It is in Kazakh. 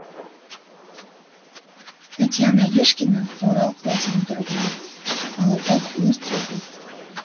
татьяна арешкина орал қаласының тұрғыны алапат өрт болды